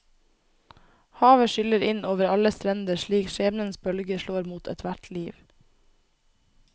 Havet skyller inn over alle strender slik skjebnens bølger slår mot ethvert liv.